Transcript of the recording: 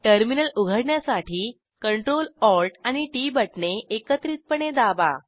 terminal उघडण्यासाठी Ctrl Alt आणि T T बटणे एकत्रितपणे दाबा